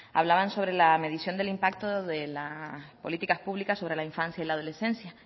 hablaban sobre la medición del impacto de las políticas públicas sobre la infancia y la adolescencia